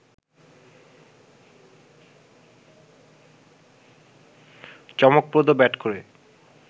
চমকপ্রদ ব্যাট করে